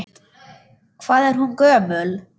Hvað er hún gömul?